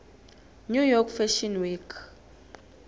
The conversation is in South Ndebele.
new york fashion week